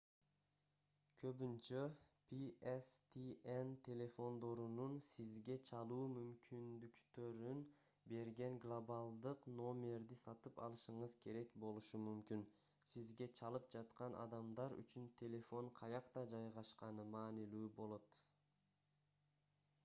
көбүнчө pstn телефондорунун сизге чалуу мүмкүндүктөрүн берген глобалдык номерди сатып алышыңыз керек болушу мүмкүн сизге чалып жаткан адамдар үчүн телефон каякта жайгашканы маанилүү болот